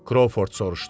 Krouford soruşdu.